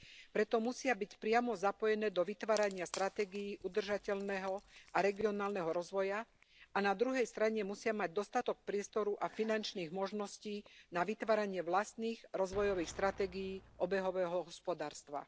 Preto musia byť priamo zapojené do vytvárania stratégií udržateľného a regionálneho rozvoja a na druhej strane musia mať dostatok priestoru a finančných možností na vytváranie vlastných rozvojových stratégií obehového hospodárstva.